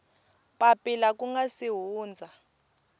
papila ku nga si hundza